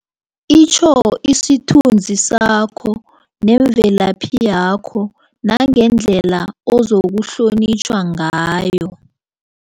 Itjho isithunzi sakho nemvelaphi yakho nangendlela ozokuhlonitjhwa ngayo.